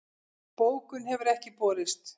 Bókun hefur ekki borist